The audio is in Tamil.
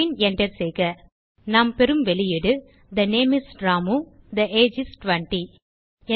பின் Enter செய்க நாம் பெறும் வெளியீடு160 தே நேம் இஸ் ராமு மற்றும் தே ஏஜ் இஸ் 20